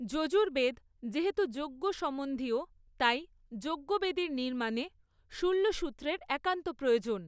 যজুর্বেদ যেহেতু যজ্ঞসমন্ধীয় তাই যজ্ঞবেদীর নির্মাণে শুল্বসূত্রের একান্ত প্রয়োজন।